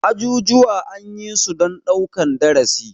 Ajujuwa anyisu dan ɗaukan darasi.